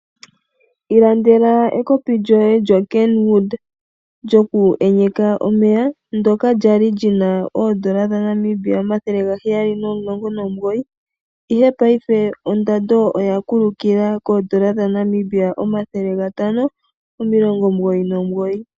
Ilandela ekopi djoye djo Kenwood djoku enyeka omeya ndoka djali djina oodola dha Namibia 719, ihe paife ondado oya kulukila koodola dha Namibia 599.